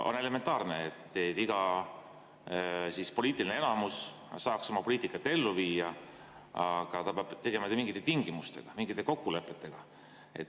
On elementaarne, et iga poliitiline enamus saaks oma poliitikat ellu viia, aga ta peab seda tegema mingite tingimustega, mingite kokkulepetega.